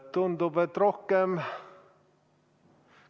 Tundub, et rohkem ...